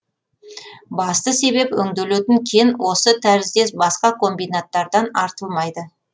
басты себеп өңделетін кен осы тәріздес басқа комбинаттардан артылмайды